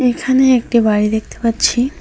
এখানে একটি বাড়ি দেখতে পাচ্ছি।